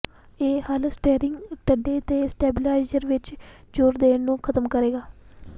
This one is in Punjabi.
ਇਹ ਹੱਲ ਸਟੀਅਰਿੰਗ ਡੰਡੇ ਦੇ ਸਟੈਬੀਿਲਾਈਜ਼ਰ ਵਿੱਚ ਜ਼ੋਰ ਦੇਣ ਨੂੰ ਖ਼ਤਮ ਕਰੇਗਾ